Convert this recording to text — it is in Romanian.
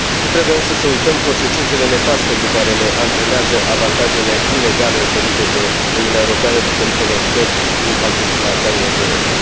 Nu trebuie însă să uităm consecințele nefaste pe care le antrenează avantajele inegale oferite de Uniunea Europeană diferitelor țări din pachetul Balcanilor de Vest.